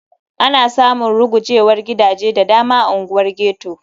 Ana samun rugujewar gidaje da dama a unguwar ghetto.